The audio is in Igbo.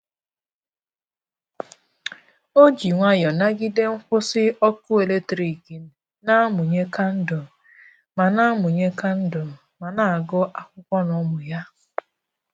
O ji nwayọọ nagide nkwụsị ọkụ eletrik, na-amụnye kandụl ma na-amụnye kandụl ma na-agụ akwụkwọ na ụmụ ya.